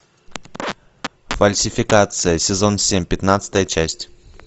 фальсификация сезон семь пятнадцатая часть